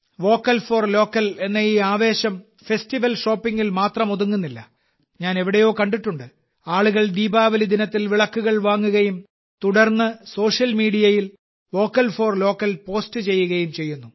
vocal for local എന്ന ഈ ആവേശം ഫെസ്റ്റിവൽ ഷോപ്പിംഗിൽ മാത്രം ഒതുങ്ങുന്നില്ല ഞാൻ എവിടെയോ കണ്ടിട്ടുണ്ട് ആളുകൾ ദീപാവലി ദിനത്തിൽ വിളക്കുകൾ വാങ്ങുകയും തുടർന്ന് സോഷ്യൽ മീഡിയയിൽ വോക്കൽ ഫോർ ലോക്കൽ പോസ്റ്റ് ചെയ്യുകയും ചെയ്യുന്നു